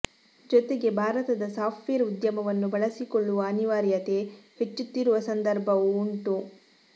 ಜೊತೆಗೆ ಭಾರತದ ಸಾಫ್ಟವೇರ್ ಉದ್ಯಮವನ್ನು ಬಳಸಿಕೊಳ್ಳುವ ಅನಿವಾರ್ಯತೆ ಹೆಚ್ಚುತ್ತಿರುವ ಸಂದರ್ಭವೂ ಉಂಟು